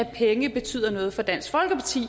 penge betyder noget for dansk folkeparti